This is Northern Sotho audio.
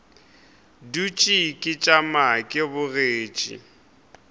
dutše ke tšama ke bogetše